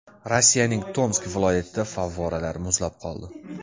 Rossiyaning Tomsk viloyatida favvoralar muzlab qoldi.